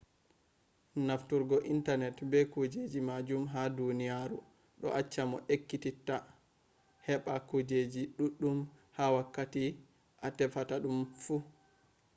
nafturgo intanet be kujeji majum ha duniyaru ɗo acca mo ekkititta heɓɓa kujeji ɗuɗɗum ha wakkati a tefata ɗum fu